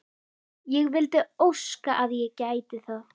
Ég vildi óska að ég gæti það.